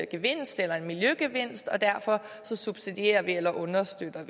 gevinst eller en miljøgevinst og derfor subsidierer eller understøtter